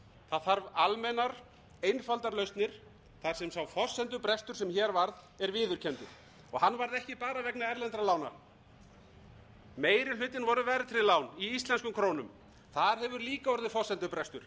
þarf almennar einfaldar lausnir þar sem sá forsendubrestur sem hér varð er viðurkenndur hann varð ekki bara vegna erlendra lána meiri hlutinn voru verðtryggð lán í íslenskum krónum þar hefur líka orðið forsendubrestur